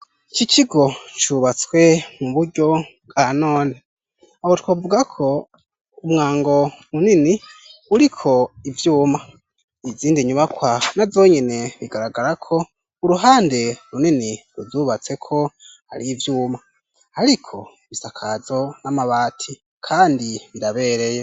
Iki kigo cubatswe mu buryo bwa none. Aho twavuga ko umwango munini uriko ivyuma .Izindi nyubakwa na zonyene bigaragara ko uruhande runini ruzubatse ko ari ivyuma ariko ibisakazo n'amabati kandi ndabereye.